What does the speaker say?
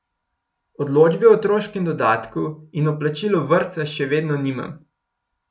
Odločbe o otroškem dodatku in o plačilu vrtca še vedno nimam.